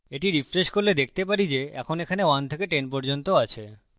যদি এটি refresh করি আমরা দেখতে পারি যে এখন এখানে 1 থেকে 10 পর্যন্ত আছে